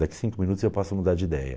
Daqui cinco minutos eu posso mudar de ideia.